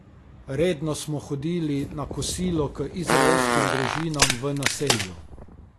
Redno smo hodili na kosilo k izraelskim družinam v naselju.